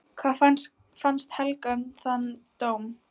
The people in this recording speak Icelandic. Hvað fannst Helga um þann dóm?